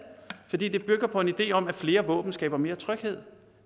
fordi det bygger på en idé om at flere våben skaber mere tryghed